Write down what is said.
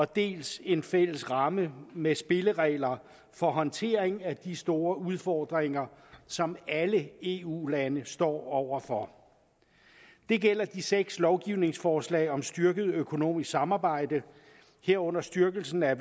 dels en fælles ramme med spilleregler for håndtering af de store udfordringer som alle eu lande står over for det gælder de seks lovgivningsforslag om styrket økonomisk samarbejde herunder styrkelsen af